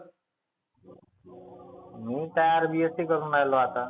मी काय BSC करुण राहिलो आता.